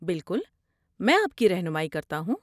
بالکل، میں آپ کی رہنمائی کرتا ہوں۔